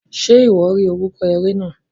Ṣe iwọ ri orúkọ eré náà?